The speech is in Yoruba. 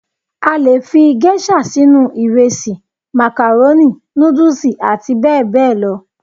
A le fi Géṣà sínú ìrẹsì, màkàrónì, nùdùsì àti bẹ́ẹ̀ bẹ́ẹ̀ lọ